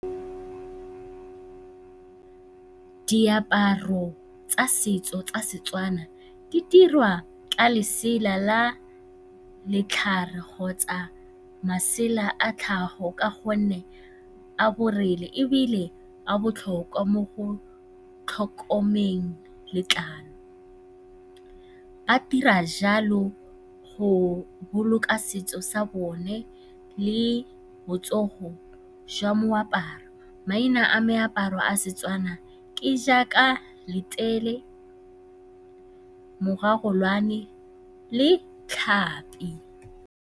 Diaparo tsa setso tsa Setswana di dirwa ka lesela la kgotsa masela a tlhago ka gonne a ebile a botlhokwa mo go tlhokomeleng letlalo. A dira jalo go boloka setso sa bone le botsogo jwa moaparo. Maina a meaparo a Setswana ke jaaka letele, mogagolwane le .